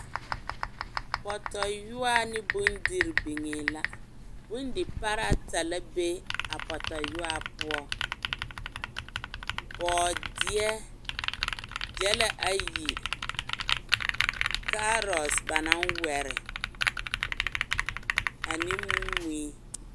Pɔtɔyoɔa ne bondirii biŋee la bondiparɛɛ ata la be a Pɔtɔyoɔa poɔ bɔɔdeɛ gyɛlɛ ayi kaarɔte ba naŋ wɛre ane mui.